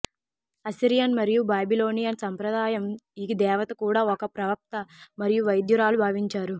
Assyrian మరియు Babylonian సంప్రదాయం ఈ దేవత కూడా ఒక ప్రవక్త మరియు వైద్యురాలు భావించారు